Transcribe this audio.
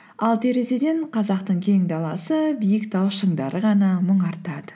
ал терезеден қазақтың кең даласы биік тау шыңдары ғана мұңартады